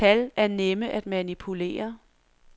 Tal er nemme at manipulere.